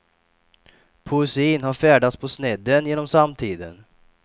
Poesin har färdats på snedden genom samtiden.